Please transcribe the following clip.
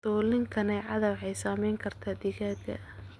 Dulin-kaneecada waxay saameyn kartaa digaagga.